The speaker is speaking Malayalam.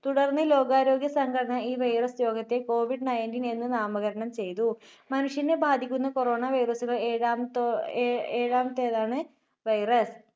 തുടർന്ന് ലോകാരോഗ്യ സംഘടന ഈ virus രോഗത്തെ കോവിഡ് nineteen എന്ന് നാമകരണം ചെയ്‌തു. മനുഷ്യനെ ബാധിക്കുന്ന corona virus നെ ഏഴാമത്തോ~ഏ~ഏഴാമത്തേതാണ് virus.